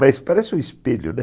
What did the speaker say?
Mas parece um espelho, né?